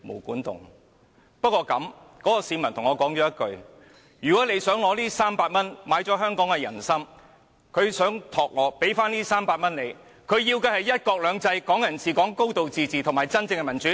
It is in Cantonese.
不過，那位市民跟我說，如果"林鄭"你想用這300元來收買香港的"人心"，他想託付我把這300元還給你，他要的是"一國兩制"、"港人治港"、"高度自治"及真正的民主。